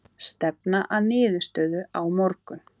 Stefna að niðurstöðu á morgun